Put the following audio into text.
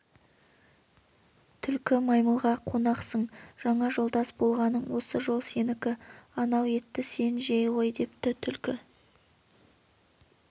түлкі маймылға қонақсың жаңа жолдас болғаның осы жол сенікі анау етті сен жей ғой депті түлкі